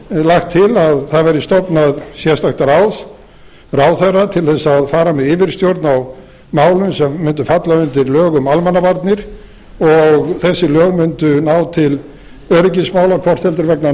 lagt til að stofnað verði sérstakt ráð ráðherra til að fara með yfirstjórn á málum sem mundu falla undir lög um almannavarnir og þessi lög mundu ná til öryggismála hvort heldur vegna